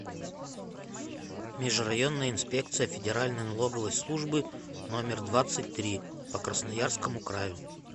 межрайонная инспекция федеральной налоговой службы номер двадцать три по красноярскому краю